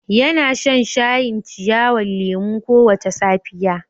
Yana shan shayin ciyawan lemu kowace safiya.